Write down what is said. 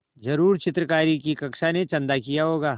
ज़रूर चित्रकारी की कक्षा ने चंदा किया होगा